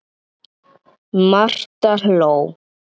Marta hló.